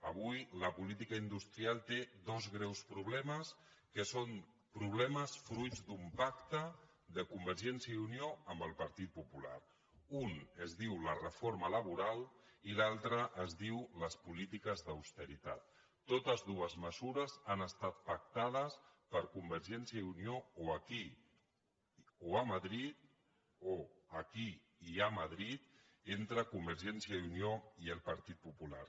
avui la política industrial té dos greus problemes que són problemes fruit d’un pacte de convergència i unió amb el partit popular un es diu la reforma laboral i l’altre es diu les polítiques d’austeritat totes dues mesures han estat pactades per convergència i unió o aquí o a madrid o aquí i a madrid entre convergència i unió i el partit popular